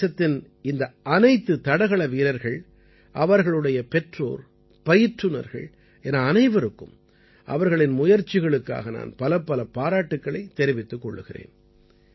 தேசத்தின் இந்த அனைத்துத் தடகள வீரர்கள் அவர்களுடைய பெற்றோர் பயிற்றுநர்கள் என அனைவருக்கும் அவர்களின் முயற்சிகளுக்காக நான் பலப்பல பாராட்டுக்களைத் தெரிவித்துக் கொள்கிறேன்